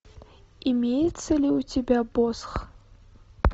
имеется ли у тебя босх